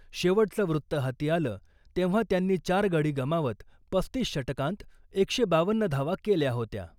शेवटचं वृत्त हाती आलं , तेव्हा त्यांनी चार गडी गमावत पस्तीस षटकांत एकशे बावन्न धावा केल्या होत्या .